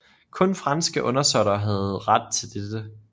Kun franske undersåtter havde ret til dette